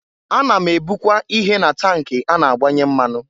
Ana m ebụkwa ihe na tank a na-agbanye mmanụ.